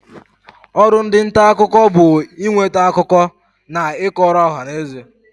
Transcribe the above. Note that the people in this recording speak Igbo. Ọrụ ndị nta akụkọ bụ ị nweta akụkọ na ị kọrọ ọhanaeze.